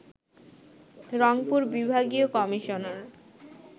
রংপুর বিভাগীয় কমিশনার